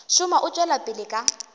šoma o tšwela pele ka